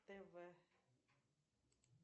тв